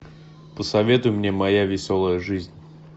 посоветуй мне моя веселая жизнь